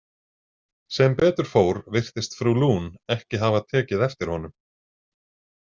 Sem betur fór virtist frú Lune ekki hafa tekið eftir honum.